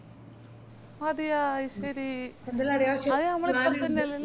അതേയ അയ്ശേരി